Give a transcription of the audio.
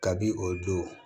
Kabini o don